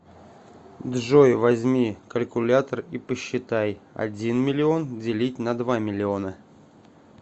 джой возьми калькулятор и посчитай один миллион делить на два миллиона